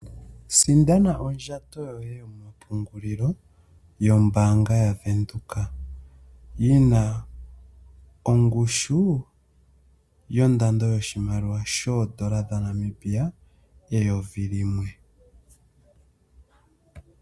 Sindana ondjato yoye mpungulilo yombaanga yaVenduka. Yi na ongushu yondando yoshimaliwa shoodola dhaNamibia eyovi limwe.